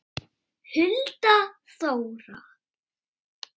Hulda Þóra.